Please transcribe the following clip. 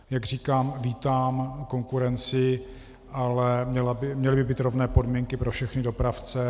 Jak říkám, vítám konkurenci, ale měly by být rovné podmínky pro všechny dopravce.